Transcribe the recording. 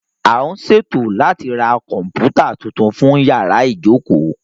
A ń ṣètò láti ra Kọ̀m̀pútà tuntun fún yàrá ìjókòó